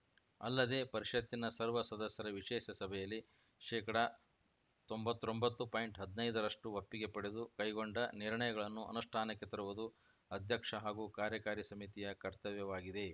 ಅಲ್ಲದೇ ಪರಿಷತ್ತಿನ ಸರ್ವ ಸದಸ್ಯರ ವಿಶೇಷ ಸಭೆಯಲ್ಲಿ ಶೇಕಡತೊಂಬತ್ತೊಂಬತ್ತು ಪಾಯಿಂಟ್ ಹದಿನೈದರಷ್ಟುಒಪ್ಪಿಗೆ ಪಡೆದು ಕೈಗೊಂಡ ನಿರ್ಣಯಗಳನ್ನು ಅನುಷ್ಠಾನಕ್ಕೆ ತರುವುದು ಅಧ್ಯಕ್ಷ ಹಾಗೂ ಕಾರ್ಯಕಾರಿ ಸಮಿತಿಯ ಕರ್ತವ್ಯವಾಗಿದೆ